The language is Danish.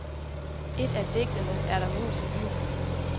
I et af digtene er der mus i byen.